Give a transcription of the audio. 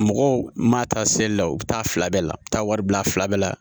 Mɔgɔw ma taa seli la u bi taa fila bɛɛ la u be taa wari bila fila bɛɛ la